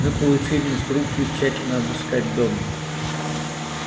мы получили инструкцию тщательно обыскать дом